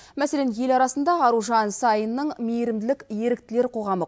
мәселен ел арасында аружан саинның мейірімділік еріктілер қоғамы